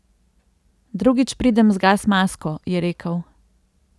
Drugič pridem z gas masko, je rekel.